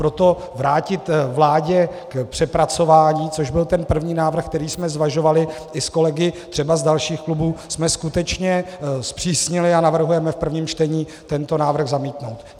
Proto vrátit vládě k přepracování, což byl ten první návrh, který jsme zvažovali i s kolegy třeba z dalších klubů, jsme skutečně zpřísnili a navrhujeme v prvním čtení tento návrh zamítnout.